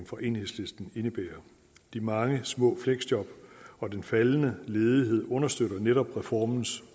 fra enhedslisten indebærer de mange små fleksjob og den faldende ledighed understøtter netop reformens